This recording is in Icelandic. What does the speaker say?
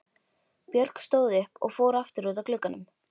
Björg stóð upp og fór aftur út að glugganum.